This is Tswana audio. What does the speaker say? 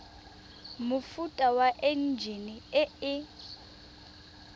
mofuta wa enjine e e